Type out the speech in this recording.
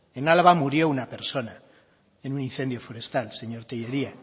en álava murió una persona en un incendio forestal señor tellería